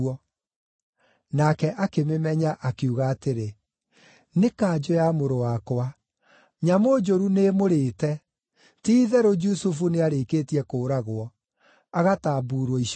Nake akĩmĩmenya, akiuga atĩrĩ, “Nĩ kanjũ ya mũrũ wakwa! Nyamũ njũru nĩĩmũrĩĩte. Ti-itherũ Jusufu nĩarĩkĩtie kũũragwo, agatambuurwo icunjĩ.”